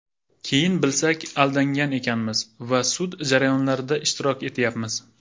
Keyin bilsak, aldangan ekanmiz va sud jarayonlarida ishtirok etyapmiz.